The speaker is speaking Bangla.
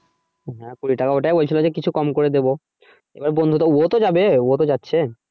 হ্যা কুড়ি টাকা ওটাই বলছিল যে কিছু কম করে দেবো এবার বন্ধু তো ও তো যাবে ও তো যাচ্ছে।